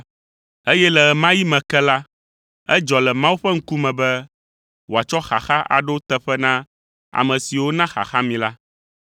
Eye le ɣe ma ɣi me ke la, edzɔ le Mawu ƒe ŋkume be wòatsɔ xaxa aɖo teƒe na ame siwo na xaxa mi la.